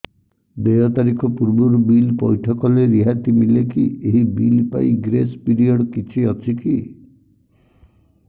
ଦେୟ ତାରିଖ ପୂର୍ବରୁ ବିଲ୍ ପୈଠ କଲେ ରିହାତି ମିଲେକି ଏହି ବିଲ୍ ପାଇଁ ଗ୍ରେସ୍ ପିରିୟଡ଼ କିଛି ଅଛିକି